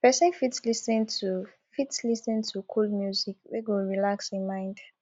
person fit lis ten to fit lis ten to cool music we go relax im mind